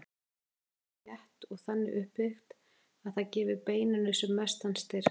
Þetta net er mjög þétt og þannig uppbyggt að það gefi beininu sem mestan styrk.